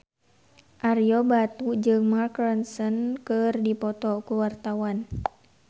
Ario Batu jeung Mark Ronson keur dipoto ku wartawan